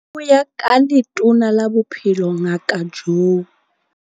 Ho ya ka Letona la Bophelo Ngaka Joe.